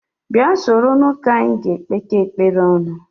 Bịa soro n'ụka anyị ga-ekpekọ ekpere ọnụ